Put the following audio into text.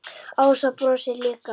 Ása brosir líka.